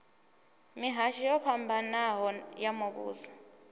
mihasho yo fhambanaho ya muvhuso